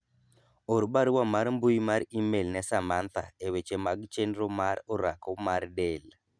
or barua mar mbui mar email ne Samantha eweche mag chenro mar orako mar del